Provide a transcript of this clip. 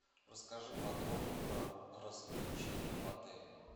расскажи подробно про развлечения в отеле